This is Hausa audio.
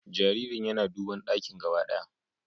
Jaririn yana duban dakin gaba ɗaya